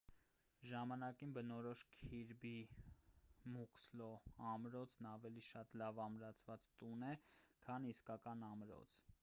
ժամանակին բնորոշ քիրբի մուքսլո ամրոցն ավելի շատ լավ ամրացված տուն է քան իսկական ամրոց